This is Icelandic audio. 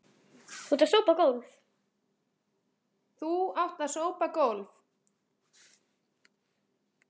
Þú átt að sópa gólf.